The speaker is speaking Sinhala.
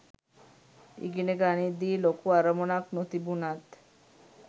ඉගෙන ගනිද්දි ලොකු අරමුණක් නොතිබුණත්